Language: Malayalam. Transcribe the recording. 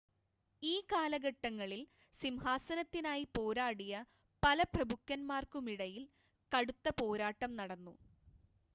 ഈ കാലഘട്ടങ്ങളിൽ സിംഹാസനത്തിനായി പോരാടിയ പല പ്രഭുക്കന്മാർക്കുമിടയിൽ കടുത്ത പോരാട്ടം നടന്നു